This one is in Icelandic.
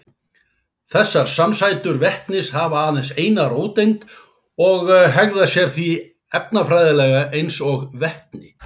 Þessar samsætur vetnis hafa aðeins eina róteind og hegða sér því efnafræðilega eins og vetni.